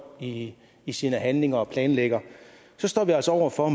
i i sine handlinger og sin planlægning står vi altså over for